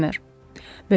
Nə olub, Bemer?